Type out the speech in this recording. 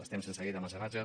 estem sense llei de mecenatge